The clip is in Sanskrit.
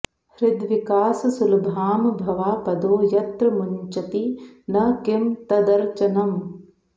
हृद्विकास सुलभां भवापदो यत्र मुञ्चति न किं तदर्चनम्